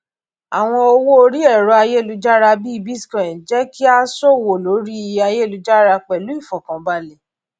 àwọn owó orí ẹrọ ayélujára bíi bitcoin jẹ kí á ṣòwò lórí ayélujára pẹlú ìfọkànbalẹ